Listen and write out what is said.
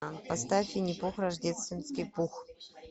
поставь винни пух рождественский пух